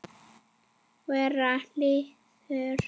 Vera leiður?